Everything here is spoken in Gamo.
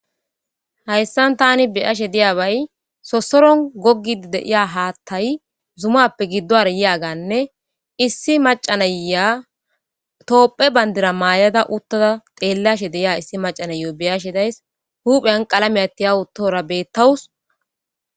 Hayssan tani be'ashe diyaabay sosoron goggidi de'iya haattay zumappe giddowaara yiyaaganne issi macca nayiya toophphe bandira maayada uttada xeellashe de'iya issi macca nayiyo be'ashe days huphiyan qalamiya tiyawutoora bettawus.